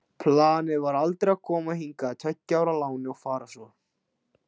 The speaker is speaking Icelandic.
Planið var aldrei að koma hingað á tveggja ára láni og fara svo.